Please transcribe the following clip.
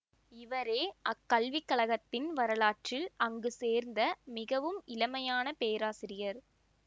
இவரே அக் கல்விக்கழகத்தின் வரலாற்றில் அங்கு சேர்ந்த மிகவும் இளமையான பேராசிரியர்